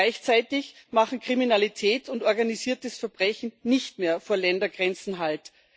Gleichzeitig machen Kriminalität und organisiertes Verbrechen nicht mehr vor Ländergrenzen Halt.